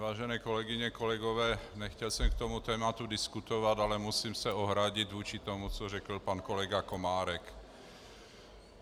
Vážené kolegyně, kolegové, nechtěl jsem k tomuto tématu diskutovat, ale musím se ohradit vůči tomu, co řekl pan kolega Komárek.